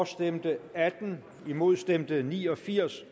stemte atten imod stemte ni og firs